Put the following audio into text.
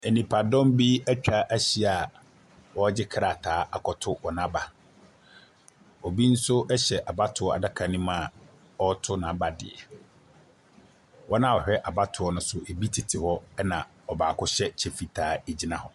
Nnipadɔm bi atwa ahyia a wɔregye krataa akɔto wɔn aba. Obi nso hyɛ abatoɔ adaka no mu a zreto n'aba deɛ. Wɔn a wɔhwɛ abatoɔ no so bi tete hɔ, ɛna ɔbaako hyɛ ɛkyɛ fitaa.